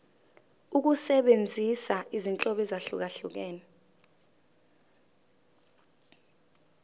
ukusebenzisa izinhlobo ezahlukehlukene